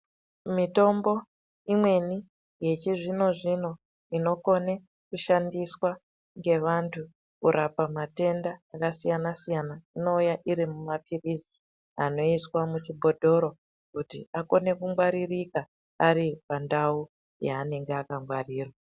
Mitimbo imweni yechizvino zvino inokone kushandiswa ngeantu kurapa matenda akasiyana-siyana. Inouya irimumapilizi anoiswa muchibhotoro kuti akone kungwaririka aripandau yaanenge akangwarirwa.